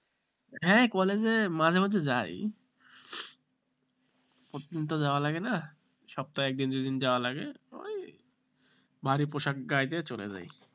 হ্যাঁ, college এ মাঝে মধ্যে যাই প্রতিদিন তো যাওয়া লাগে না সপ্তাহে একদিন দুদিন যাওয়ার আগে ওই ভারি পোশাক গায়ে দিয়ে চলে যাই